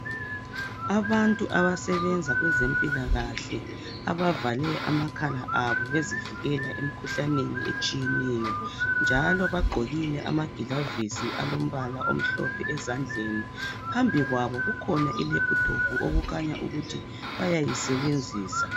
Abantu abasebenza kwezempilakahle abavale amakhala abo bezivikela emikhuhlaneni etshiyeneyo njalo bagqokile amagilovisi omhlophe ezandleni. Phambi kwabo kukhona ilaphithophu okukhanya ukuthi bayayisebenzisa.